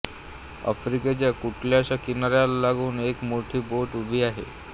आफ्रिकेच्या कुठल्याशा किनाऱ्याला लागून एक मोठी बोट उभी आहे